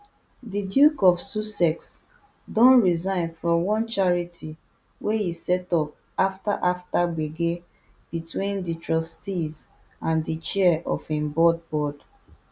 di duke of sussex don resign from one charity wey e set up afta after gbege between di trustees and di chair of im board board